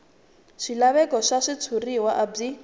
swilaveko swa switshuriwa a byi